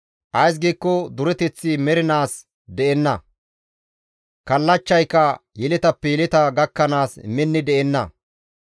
Ays giikko dureteththi mernaas de7enna; kallachchayka yeletappe yeleta gakkanaas minni de7enna.